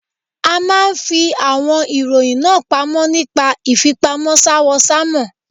A máa ń fi àwọn ìròyìn náà pamọ́ nípa ìfipamọ́ s'áwọ̀sánmọ̀.